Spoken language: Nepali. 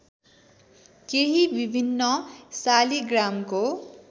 केही विभिन्न शालिग्रामको